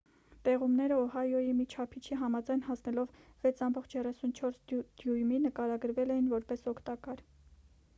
տեղումները օահոյի մի չափիչի համաձայն հասնելով 6,34 դյույմի նկարագրվել էին որպես օգտակար